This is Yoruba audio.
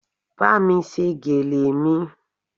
Bámi ṣe gèlè mi